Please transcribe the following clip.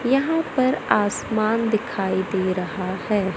यहां पर आसमान दिखाई दे रहा है।